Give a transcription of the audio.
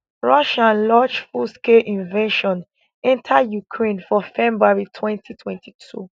russia launch fullscale invasion enta ukraine for february twenty twenty two